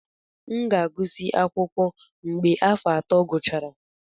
M ga-agụsị akwụkwọ mgbe afọ ato gachara.